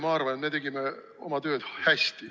Ma arvan, et me tegime oma tööd hästi.